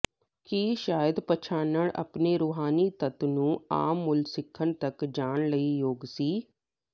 ਕੀ ਸ਼ਾਇਦ ਪਛਾਣਨ ਆਪਣੇ ਰੂਹਾਨੀ ਤੱਤ ਨੂੰ ਆਮ ਮੁੱਲ ਸਿੱਖਣ ਤੱਕ ਜਾਣ ਲਈ ਯੋਗ ਸੀ